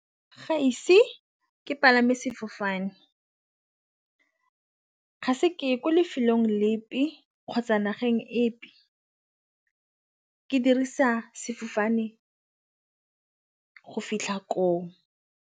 Ga ise ke palame sefofane, ga se ke ko lefelong lepe kgotsa nageng epe ke dirisa sefofane go fitlha ko.